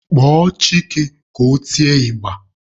Kpọọ Chike ka o tie ịgba!